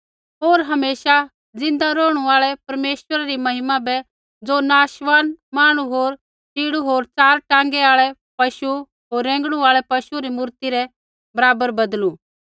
होर हमेशा ज़िन्दा रौहणु आल़ै परमेश्वरा री महिमा बै ज़ो नाशवान मांहणु होर च़ीड़ू होर च़ार टाँगा आल़ै पशु होर रेंगणु आल़ै पशु री मूर्ति रै बराबर बदलू